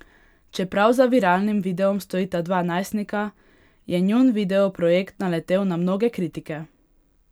Čeprav za viralnim videom stojita dva najstnika, je njun video projekt naletel na mnoge kritike.